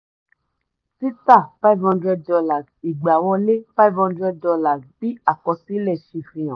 títà five hundred dollars igbáwọlé five hundred dollars bí àkọsílẹ̀ ṣe fihan.